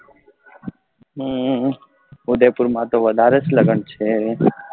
અમ ઉદયપુર માં તો વધારે જ લગ્ન છે